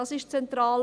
dies ist zentral.